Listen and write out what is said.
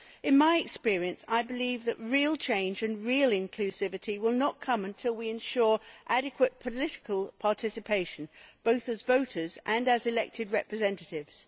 In my experience, I believe that real change and real inclusivity will not come until we ensure adequate political participation both as voters and as elected representatives.